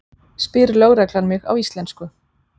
spyr lögreglan mig á íslensku.